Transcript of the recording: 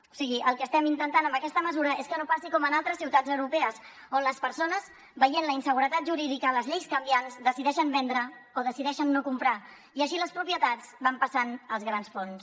o sigui el que estem intentant amb aquesta mesura és que no passi com en altres ciutats europees on les persones veient la inseguretat jurídica les lleis canviants decideixen vendre o decideixen no comprar i així les propietats van passant als grans fons